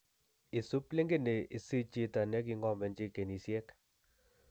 Isib linkini isich chito neking'omenji ginisiek